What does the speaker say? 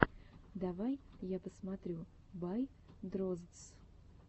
давай я посмотрю бай дроздс